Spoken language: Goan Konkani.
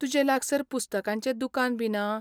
तुजे लागसार पुस्तकांचें दुकान बी ना?